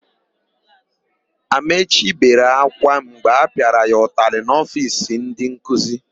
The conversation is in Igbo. Amaechi bere ákwá mgbe a pịara ya ụtalị n'ofiisi ndịnkuzi.